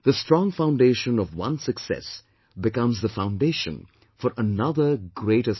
The strong foundation of one success becomes the foundation for another greater success